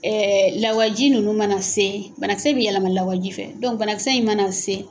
lawaji ninnu mana se, banakisɛ bɛ yɛlɛma lawaji fɛ. banakisɛ in mana se